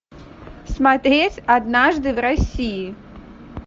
смотреть однажды в россии